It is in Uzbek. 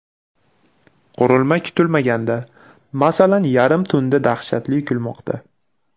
Qurilma kutilmaganda, masalan, yarim tunda dahshatli kulmoqda.